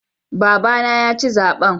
Babana yaci zaɓen.